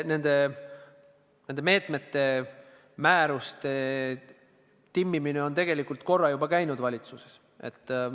Nende meetmete määruste timmimine on tegelikult korra juba valitsuses käinud.